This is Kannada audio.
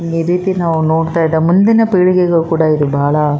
ಈ ರೀತಿ ನಾವು ನೋಡ್ತಾ ಇದ ಮುಂದಿನ ಪೀಳಿಗೆಗೂ ಕೂಡ ಇದು ಬಹಳ --